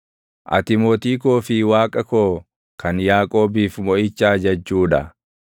Ati Mootii koo fi Waaqa koo kan Yaaqoobiif moʼicha ajajjuu dha.